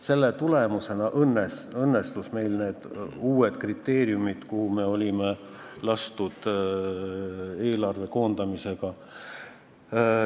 Selle tulemusena õnnestus meil täita need uued kriteeriumid, mis meile oli kehtestatud eelarve koondamisega.